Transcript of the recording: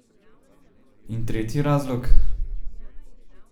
In tretji razlog?